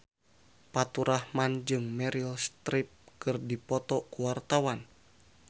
Faturrahman jeung Meryl Streep keur dipoto ku wartawan